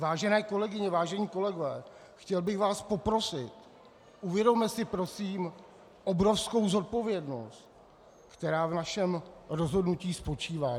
Vážené kolegyně, vážení kolegové, chtěl bych vás poprosit, uvědomme si prosím obrovskou odpovědnost, která v našem rozhodnutí spočívá.